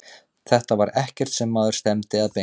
Þetta var ekkert sem maður stefndi að beint.